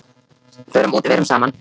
Förum út, verum saman.